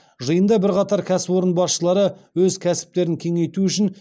жиында бірқатар кәсіпорын басшылары өз кәсіптерін кеңейту үшін